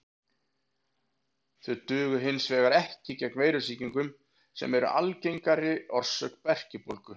Þau duga hins vegar ekki gegn veirusýkingum sem eru algengari orsök berkjubólgu.